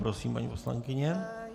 Prosím, paní poslankyně.